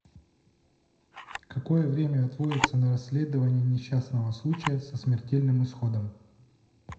какое время отводится на расследование несчастного случая со смертельным исходом